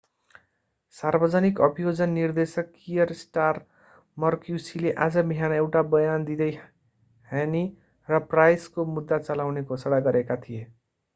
सार्वजनिक अभियोजन निर्देशक कियर स्टारमर क्युसीले आज बिहान एउटा बयान दिँदै hhne र pryce को मुद्दा चलाउने घोषणा गरेका थिए